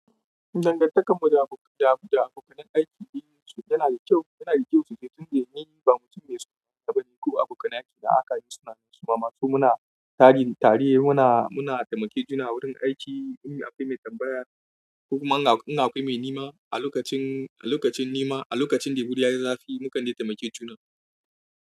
Dangantakar mu da abokan da abokanai aiki dai yana da kyau, yana da kyau sosai tun da yanayi ba mutum mai suna gaba ne ko abokan aiki da aka yi suna masu. Mazo muna tare muna muna taimake juna a wurin aiki in akwai mai tambaya ko kuma in akai mai nema a lokacin a lokacin nema, a lokacin da hudi ya yi zafi mukan dai taimake juna.